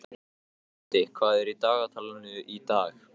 Otti, hvað er í dagatalinu í dag?